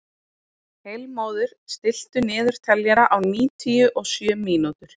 Heilmóður, stilltu niðurteljara á níutíu og sjö mínútur.